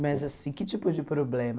Mas assim, que tipo de problema?